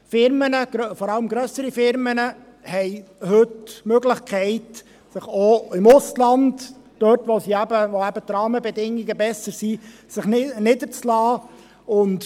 Unternehmen, vor allem grössere, haben heute die Möglichkeit, sich auch im Ausland – eben dort, wo die Rahmenbedingungen besser sind – niederzulassen.